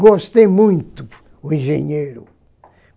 Gostei muito o engenheiro.